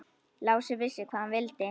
Lási vissi hvað hann vildi.